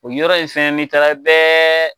O yɔrɔ ye fɛn ni taara i bɛɛ